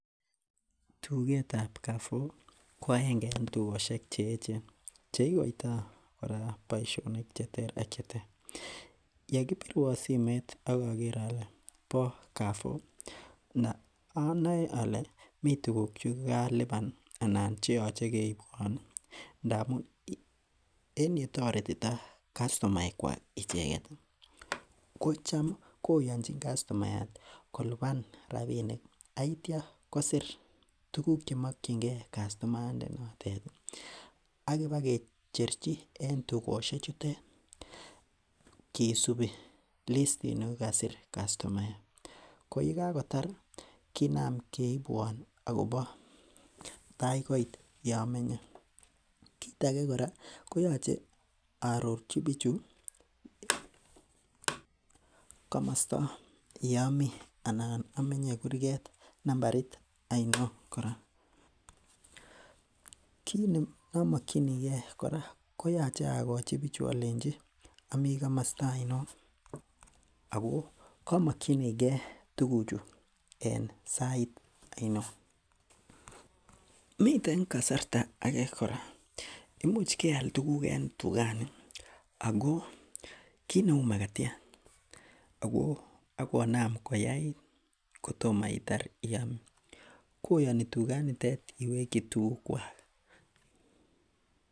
Tugetab Carrefour ko agenge en tugosiek che echen cheikoitoo kora boisionik cheter ak cheter, yekibirwon simoit ak oker ole bo Carrefour anoe ole mii tuguk chekokaliban anan cheyoche keibwon ndamun en yetoretitoo kastomaek kwak icheket ih ko cham koyonjin kastomayat ih kolipan rapinik ak itya kosir tuguk chemokyingee kastomayat ndanotet ih ak iba kicherchi en tugosiek chutet kisubi listit ni kokasir kastomayat ko yekakotar kinam keibwon akobo tai koit yomenye kit age kora koyoche aarorchi bichu komosta yomii anan omenye kurget nambarit oinon kora. Kit neomokyinigee kora koyoche akochi bichu olenji omii komosta oinon ako komokyinigee tuguk chu en sait oinon. Miten kasarta age kora, imuch keal tuguk en tugani ako kit neu makatiat ako akonam koyait kotomo itar iam koyoni tuganitet iwekyi tuguk kwak